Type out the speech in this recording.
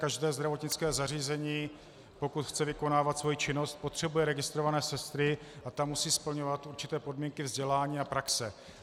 Každé zdravotnické zařízení, pokud chce vykonávat svoji činnost, potřebuje registrované sestry a ty musí splňovat určité podmínky vzdělání a praxe.